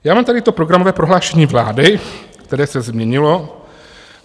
Já mám tady to programové prohlášení vlády, které se změnilo.